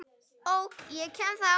OK, ég kem þá!